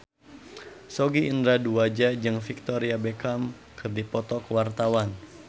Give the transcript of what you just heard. Sogi Indra Duaja jeung Victoria Beckham keur dipoto ku wartawan